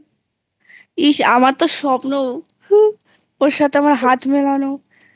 ইস আমার তো স্বপ্ন ওর সাথে আমার হাত মেলানোI